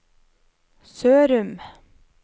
Sørum